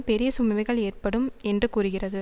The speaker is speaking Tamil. பெரிய சுமைகள் ஏற்படும் என்று கூறுகிறது